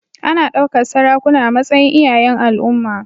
Ana ɗaukar sarakuna a matsayin iyayen al'umma.